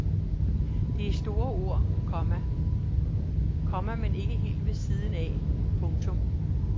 Det er store ord, komma men ikke helt ved siden af. punktum